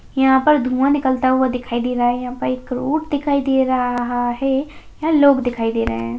यहाँ पर धुआँ निकलता हुआ दिखाई दे रहा है| यहाँ पर एक रोड दिखाई दे रहा है| यहाँ लोग दिखाई दे रहे हैं।